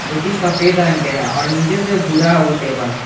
जो कि सफेद रंग के हैं और नीचे से भूरा है वो टेबल ।